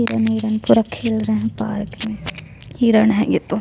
हिरण-हिरण पूरा खेल रहे हैं पार्क में हिरण है ये तो--